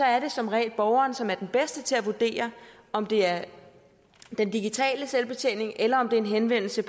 er det som regel borgeren som er den bedste til at vurdere om det er den digitale selvbetjening eller om det er en henvendelse